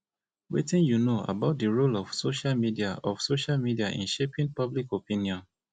wetin you know about di role of social role of social media in shaping public opinion